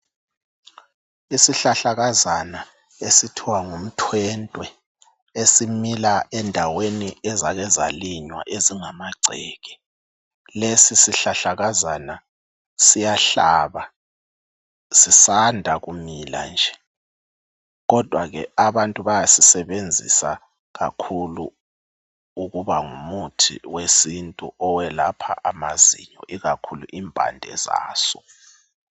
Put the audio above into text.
Isihlahlakazana esithiwa ngumthwentwe esimila endaweni ezake zalinywa ezingamagceke. Lesi sihlahlakazana siyahlaba, sisanda kumila nje! Kodwa ke abantu bayasisebenzisa kakhulu ukuba ngumuthi wesintu owelapha amazinyo, ikakhulu impande zaso.